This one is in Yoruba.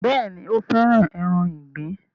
Bẹ́ẹ̀ni, ó fẹ́ràn ẹran ìgbín